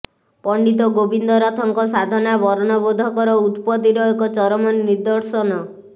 ପଣ୍ଡିତ ଗୋବିନ୍ଦରଥଙ୍କ ସାଧନା ବର୍ଣ୍ଣବୋଧକର ଉତ୍ପତିର ଏକ ଚରମ ନିଦ୍ଦର୍ଶନ